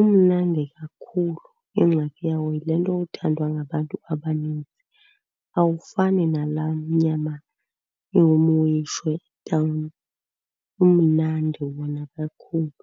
umnandi kakhulu. Ingxaki yawo yile nto yothandwa ngabantu abaninzi. Awufani nalaa nyama ingumweyishwa etawuni. Umnandi wona kakhulu.